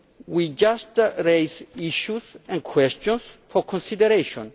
We just raised issues and questions for consideration.